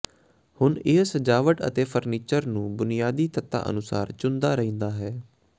ਹੁਣ ਇਹ ਸਜਾਵਟ ਅਤੇ ਫਰਨੀਚਰ ਨੂੰ ਬੁਨਿਆਦੀ ਤੱਤਾਂ ਦੇ ਅਨੁਸਾਰ ਚੁਣਦਾ ਰਹਿੰਦਾ ਹੈ